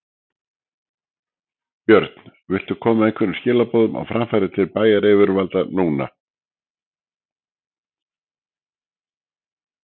Björn: Viltu koma einhverjum skilaboðum á framfæri til bæjaryfirvalda núna?